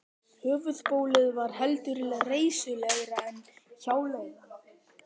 Höfuðbólið var heldur reisulegra en hjáleigan.